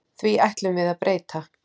Því ætlum við að breyta.